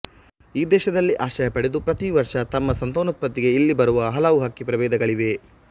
ಈ ದೇಶದಲ್ಲಿ ಆಶ್ರಯ ಪಡೆದು ಪ್ರತಿ ವರ್ಷ ತಮ್ಮ ಸಂತಾನೋತ್ಪತ್ತಿಗೆ ಇಲ್ಲಿ ಬರುವ ಹಲವು ಹಕ್ಕಿ ಪ್ರಭೇಧಗಳಿವೆ